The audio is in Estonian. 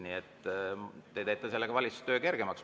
Nii et te teete sellega valitsuse töö kergemaks.